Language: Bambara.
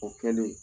O kɛlen